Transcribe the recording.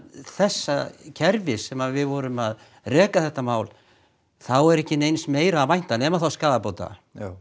þessa kerfis sem við vorum að reka þetta mál er ekki neins meira að vænta nema skaðabóta